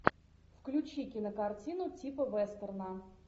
включи кинокартину типа вестерна